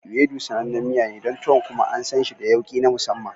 Ewedu sanannen miya ne don tuwo kuma an san shi da yawki na masamman.